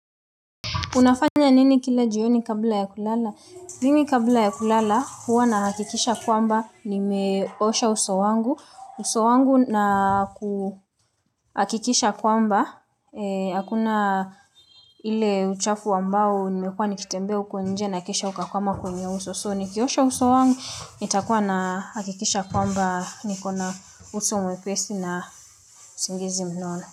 Unafanya nini kila jioni kabla ya kulala? Mimi kabla ya kulala, huwa na hakikisha kwamba, nimeosha uso wangu. Uso wangu na hakikisha kwamba, hakuna ile uchafu wambao, nimekuwa nikitembea huko nje na kisha uka kwama kwenye uso. So, nikiosha uso wangu, nitakuwa na hakikisha kwamba niko na uso mwepesi na usingizi mnono.